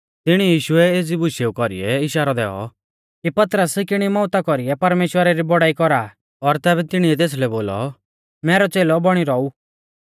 तिणी यीशुऐ एज़ी बुशेऊ कौरीऐ इशारौ दैऔ कि पतरस किणी मौउता कौरीऐ परमेश्‍वरा री बौड़ाई कौरा और तैबै तिणीऐ तेसलै बोलौ मैरौ च़ेलौ बौणी रौऊ